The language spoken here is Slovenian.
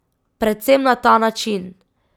Predvsem na ta način!